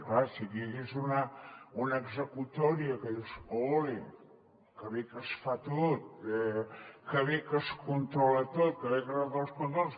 clar si aquí hi hagués una executòria que dius ole que bé que es fa tot que bé que es controla tot que bé que es fan els controls